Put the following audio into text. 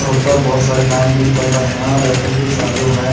और ऊपर बहुत सारे फेन चाल रहे है और लाइटिंग भी चालु है।